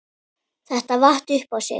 Þetta vatt upp á sig.